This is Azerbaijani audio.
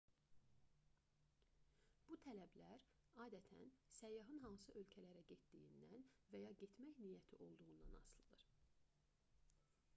bu tələblər adətən səyyahın hansı ölkələrə getdiyindən və ya getmək niyyətində olduğundan asılıdır